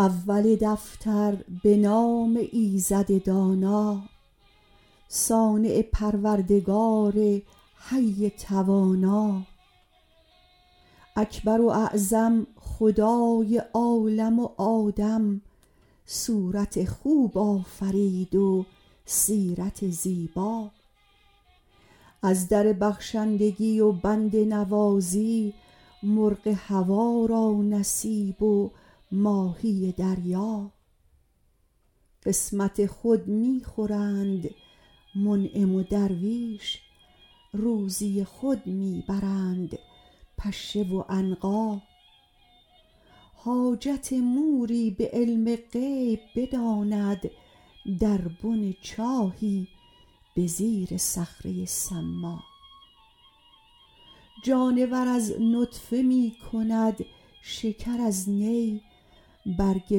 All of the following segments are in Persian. اول دفتر به نام ایزد دانا صانع پروردگار حی توانا اکبر و اعظم خدای عالم و آدم صورت خوب آفرید و سیرت زیبا از در بخشندگی و بنده نوازی مرغ هوا را نصیب و ماهی دریا قسمت خود می خورند منعم و درویش روزی خود می برند پشه و عنقا حاجت موری به علم غیب بداند در بن چاهی به زیر صخره ی صما جانور از نطفه می کند شکر از نی برگ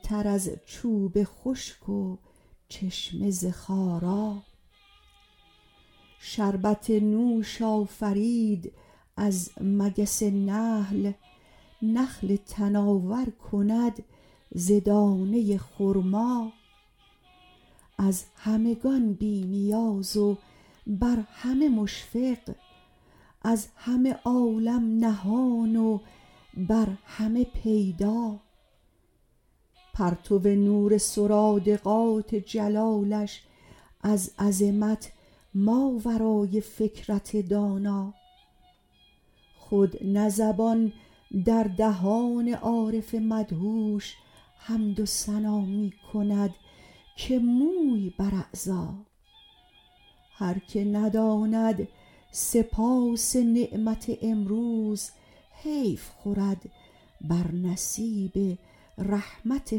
تر از چوب خشک و چشمه ز خارا شربت نوش آفرید از مگس نحل نخل تناور کند ز دانه ی خرما از همگان بی نیاز و بر همه مشفق از همه عالم نهان و بر همه پیدا پرتو نور سرادقات جلالش از عظمت ماورای فکرت دانا خود نه زبان در دهان عارف مدهوش حمد و ثنا می کند که موی بر اعضا هر که نداند سپاس نعمت امروز حیف خورد بر نصیب رحمت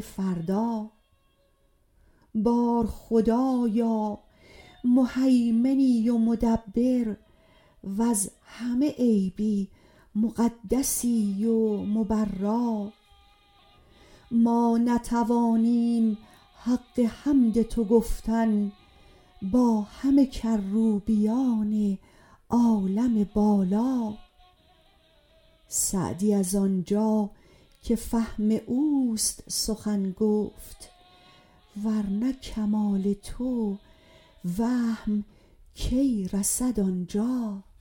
فردا بار خدایا مهیمنی و مدبر وز همه عیبی مقدسی و مبرا ما نتوانیم حق حمد تو گفتن با همه کروبیان عالم بالا سعدی از آنجا که فهم اوست سخن گفت ور نه کمال تو وهم کی رسد آنجا